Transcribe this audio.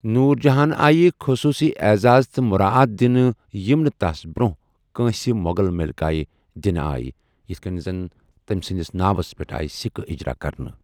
نوُر جہانہِ آیہ خصوُصی اعزاز تہٕ مٗراعات دِنہٕ یِٕم نہٕ تس برونہہ تہٕ نہٕ پتہٕ كٲن٘سہِ مو٘غل ملِكایہ دِنہٕ آیہ یِتھ كٕنہِ زن تمہِ سںدِس ناوس پیٹھ آیہ سِكہٕ اِجرا كرنہٕ ۔